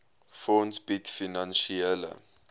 fonds bied finansiële